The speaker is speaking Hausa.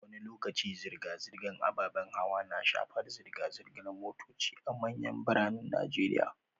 Wani lokaci zirga-zirgar ababen hawa na shafar zirga-zirgar motoci a manyan biranen Najeriya